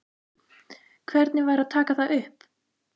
Hvernig væri að taka það upp?